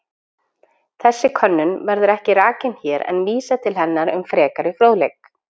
Þessi könnun verður ekki rakin hér en vísað til hennar um frekari fróðleik.